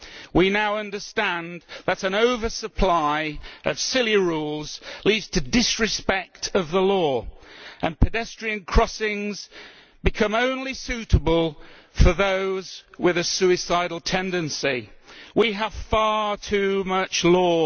We now understand that an over supply of silly rules leads to disrespect for the law, and pedestrian crossings become suitable only for those with a suicidal tendency. We have far too much law.